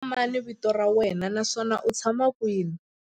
Xana hi wena mani vito ra wena naswona u tshama kwihi?